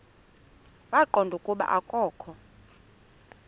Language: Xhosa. waqonda ukuba akokho